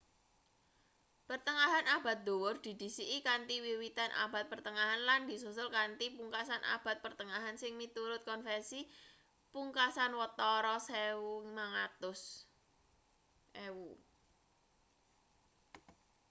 pertengahan abad dhuwur didhisiki kanthi wiwitan abad pertengahan lan disusul kanthi pungkasan abad pertengahan sing miturut konvensi pungkasan watara 1500